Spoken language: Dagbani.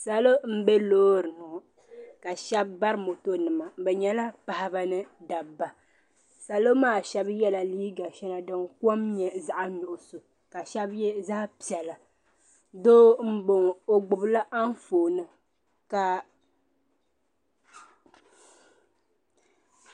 Salo bɛ loori ni ka shɛb bari moto nima bɛ nyɛla paɣba ni dabba salo maa shɛb yɛla liiga shɛŋa din kom nyɛ zaɣi nuɣiso ka shɛb yɛ zaɣi piɛla doo boŋɔ o gbibla anfooni ka.